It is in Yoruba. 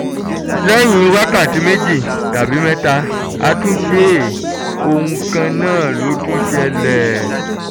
lẹ́yìn wákàtí méjì tàbí mẹ́ta a tún ṣe é ohun kan náà ló tún ṣẹlẹ̀